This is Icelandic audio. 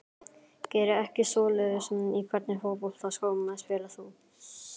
Geri ekki svoleiðis Í hvernig fótboltaskóm spilar þú?